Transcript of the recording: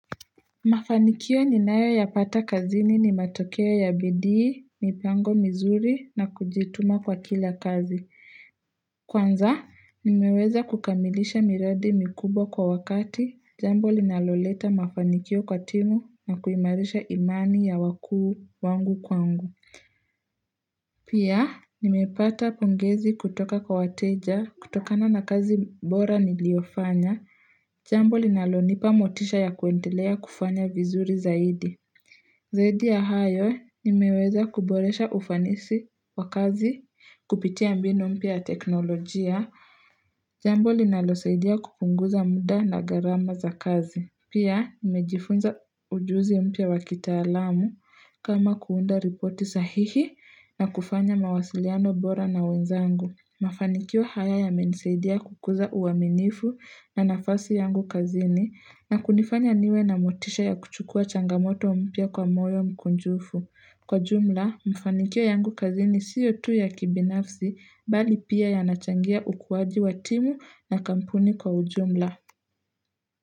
Mafanikio ninayo yapata kazini ni matokeo ya bidii, mipango mizuri na kujituma kwa kila kazi. Kwanza, nimeweza kukamilisha miradi mikubwa kwa wakati, jambo linaloleta mafanikio kwa timu na kuimarisha imani ya wakuu wangu kwangu. Pia, nimepata pongezi kutoka kwa wateja, kutokana na kazi bora niliyofanya, jambo linalonipa motisha ya kuendelea kufanya vizuri zaidi. Zaidi ya hayo, nimeweza kuboresha ufanisi wa kazi, kupitia mbinu mpya ya teknolojia, jambo linalosaidia kupunguza muda na gharama za kazi. Pia, nimejifunza ujuzi mpya wakitaalamu kama kuunda ripoti sahihi na kufanya mawasiliano bora na wenzangu. Mafanikio haya yamenisaidia kukuza uaminifu na nafasi yangu kazini na kunifanya niwe na motisha ya kuchukua changamoto mpya kwa moyo mkunjufu. Kwa jumla, mafanikio yangu kazini siyo tu ya kibinafsi mbali pia yanachangia ukuwaji wa timu na kampuni kwa ujumla.